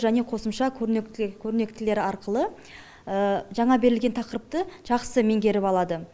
және қосымша көрнектілі көрнектілер арқылы жаңа берілген тақырыпты жақсы меңгеріп алады